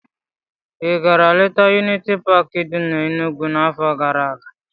Ị gara letaa Yuniti Paakị dị n'Enugwu n'afọ gara aga?